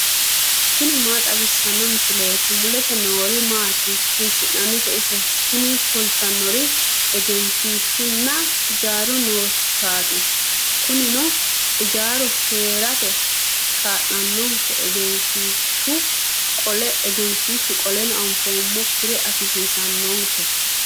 tini maa xawissanno misileeti ? mulese noori maati ? hiissinannite ise ? tini kultannori egenshiishshunna ijaaru nootaati kunino ijaaru heerate kaa'lannonke egenshiishshu qole anfoommokkire afisannonkeho.